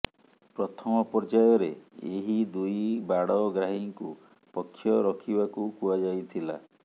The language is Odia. ପ୍ରଥମ ପର୍ଯ୍ୟାୟରେ ଏହି ଦୁଇ ବାଡ଼ଗ୍ରାହୀଙ୍କୁ ପକ୍ଷ ରଖିବାକୁ କୁହାଯାଇଥିଲା